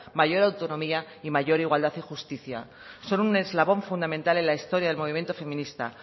mayor autonomía y mayor igualdad y justicia son un eslabón fundamental en la historia del movimiento feminista